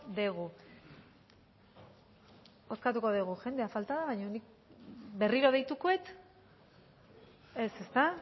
dugu bozkatuko dugu jendea falta baina nik berriro deituko dut ez ezta